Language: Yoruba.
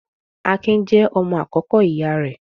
Akin jẹ́ ọmọ àkọ́kọ́ ìyá rẹ̀.